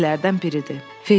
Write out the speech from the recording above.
Bizimkilərdən biridir.